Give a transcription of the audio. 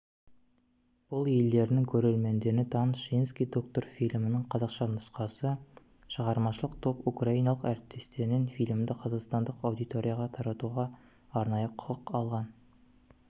бұл елдерінің көрермендеріне таныс женский доктор фильмінің қазақша нұсқасы шығармашылық топ украиналық әріптестерінен фильмді қазақстандық аудиторияға таратуға арнайы құқық алған